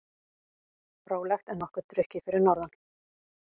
Rólegt en nokkuð drukkið fyrir norðan